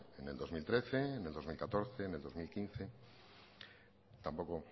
en el dos mil trece en el dos mil catorce en el dos mil quince tampoco